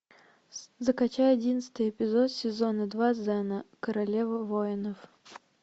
закачай одиннадцатый эпизод сезона два зена королева воинов